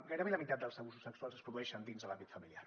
gairebé la mitat dels abusos sexuals es produeixen dins de l’àmbit familiar